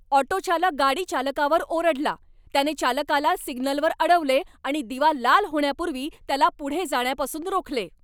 Auto चालक गाडी चालकावर ओरडला, त्याने चालकाला सिग्नलवर अडवले आणि दिवा लाल होण्यापूर्वी त्याला पुढे जाण्यापासून रोखले.